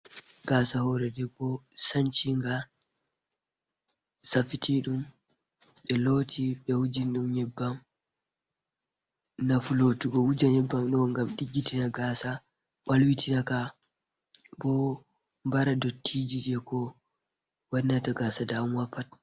Gaasa hoore debbo sanci nga ,safitiɗum ɓe looti ,ɓe wuji nyebbam. Nafu lootugo wuja nyebbam ɗo, ngam ɗiggitina gaasa ,ɓalwitina ka bo, bara ndottijije ko wannata gaasa dawamuwa pat.